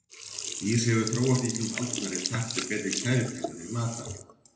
Ís hefur svo þróast í gegnum aldirnar í takt við betri kælitækni fyrir matvæli.